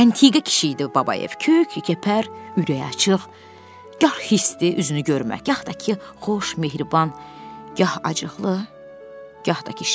Əntiqə kişi idi Babayev, kök, qəpər, ürəyi açıq, gah xisdi, üzünü görmək, yaxud da ki, xoş, mehriban, gah acıqlı, gah da ki, şən.